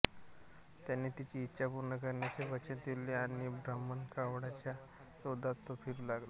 त्याने तिची इच्छा पूर्ण करण्याचे वचन दिले आणि ब्रह्मकमळाच्या शोधात तो फिरू लागला